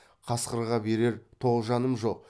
қасқырға берер тоғжаным жоқ